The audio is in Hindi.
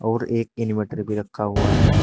और एक इनवर्टर भी रखा हुआ है।